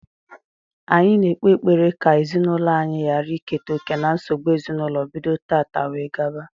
Anyi na-ekpe ekpere ka ezinaūlo anyi ghara iketa oke na nsogbu ezinaūlo bido tata wee gaba